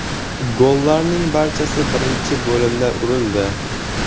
Gollarning barchasi birinchi bo‘limda urildi.